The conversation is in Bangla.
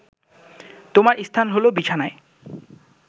তোমার স্থান হলো বিছানায়